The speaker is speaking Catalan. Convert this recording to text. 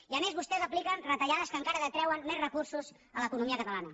i a més vostès apliquen retallades que encara detreuen més recursos a l’economia catalana